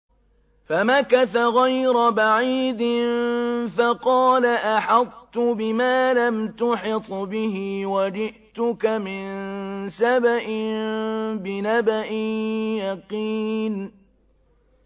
فَمَكَثَ غَيْرَ بَعِيدٍ فَقَالَ أَحَطتُ بِمَا لَمْ تُحِطْ بِهِ وَجِئْتُكَ مِن سَبَإٍ بِنَبَإٍ يَقِينٍ